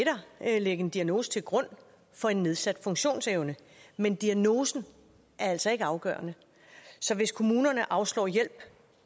ligge en diagnose til grund for en nedsat funktionsevne men diagnosen er altså ikke afgørende så hvis kommunerne afslår hjælp